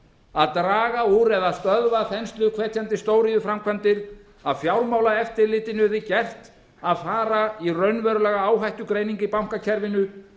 að draga úr eða stöðva þensluhvetjandi stóriðjuframkvæmdir að fjármálaeftirlitinu yrði gert að fara í raunverulega áhættugreiningu í bankakerfinu